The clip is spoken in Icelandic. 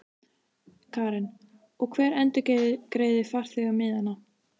Karen: Og hver endurgreiðir farþegunum miðana?